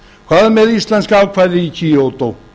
hvað með íslenska ákvæðið í kyoto